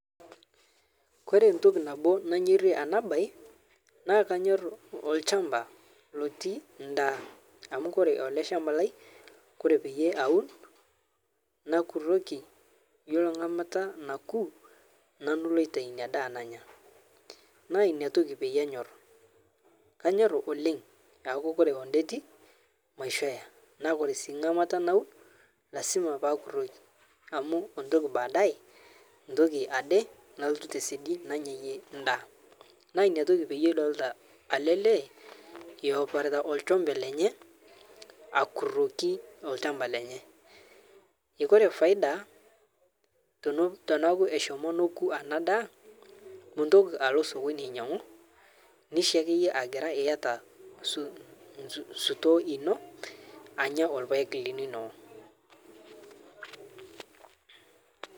Kore ntoki nabo nanyorie ana bae naa kanyorr lshamba lotii ndaa amu kore ale lshamba lai kore payie atur nanu nakuroki yiolo nkamata nakuu nanu lotiai nia daa nanya naa niatoki payie anyorr , kanyorr oleng aaku kore ondeti maisho eya ore sii nkamata naun lasima pakuroki amu entoki paadae ntoki ade nalotu tesedi nanyayie ndaa naa niatoki payie idolita ale lee eoparita lshombe lenye akuroki lshamba lenye Kore faida tonaku eshomo noku ana ndaa muntoki alo sokoni ainyang'u nishe akeyie agira iyata sutoo ino anya lpaeg linono.